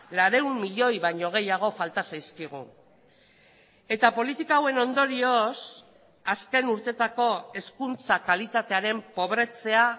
laurehun milioi baino gehiago falta zaizkigu eta politika hauen ondorioz azken urteetako hezkuntza kalitatearen pobretzea